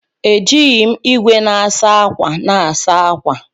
Eji m igwe na-asa ákwà na-asa ákwà.